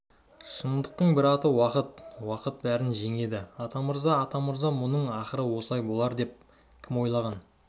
шындықтың бір аты уақыт уақыт бәрін жеңеді атамырза атамырза мұның ақыры осылай болар деп кім ойлаған